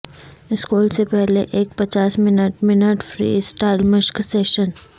school سے پہلے ایک پچاس منٹ منٹ فری اسٹائل مشق سیشن